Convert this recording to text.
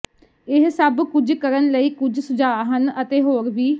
ਇਹ ਸਭ ਕੁਝ ਕਰਨ ਲਈ ਕੁਝ ਸੁਝਾਅ ਹਨ ਅਤੇ ਹੋਰ ਵੀ